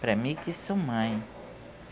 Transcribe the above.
Para mim que sou mãe.